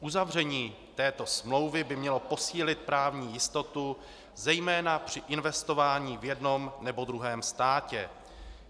Uzavření této smlouvy by mělo posílil právní jistotu zejména při investování v jednom nebo druhém státě.